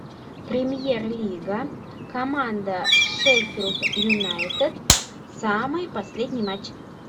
премьер лига команда шеффилд юнайтед самый последний матч